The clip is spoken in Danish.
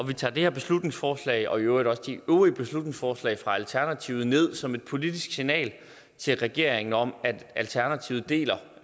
vi tager det her beslutningsforslag og i øvrigt også de øvrige beslutningsforslag fra alternativet ned som et politisk signal til regeringen om at alternativet deler